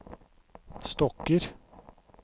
stokker